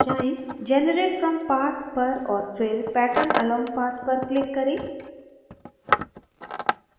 generate from path पर और फिर pattern along path पर click करें